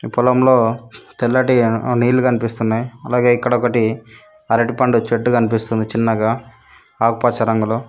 ఈ పొలంలో తెల్లటి నీళ్లు కనిపిస్తున్నాయ్ అలాగే ఇక్కడ ఒకటి అరటిపండు చెట్టు కనిపిస్తుంది చిన్నగా ఆకుపచ్చ రంగులో.